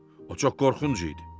O çox qorxunc idi.